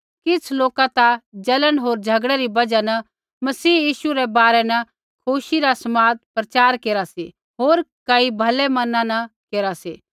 किछ़ लोक ता जलन होर झ़गड़ै री बजहा न मसीह यीशु रै बारै न खुशी रा समाद प्रचार केरा सी होर कई भलै मना न केरा सी